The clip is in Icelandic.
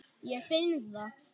Ég finn það.